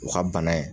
U ka bana in